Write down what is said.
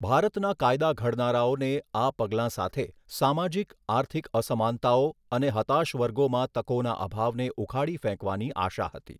ભારતના કાયદા ઘડનારાઓને આ પગલાં સાથે સામાજિક આર્થિક અસમાનતાઓ અને હતાશ વર્ગોમાં તકોના અભાવને ઉખાડી ફેંકવાની આશા હતી.